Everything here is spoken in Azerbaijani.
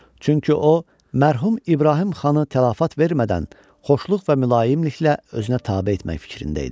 Çünki o, mərhum İbrahim xanı tələfat vermədən xoşluq və mülayimliklə özünə tabe etmək fikrində idi.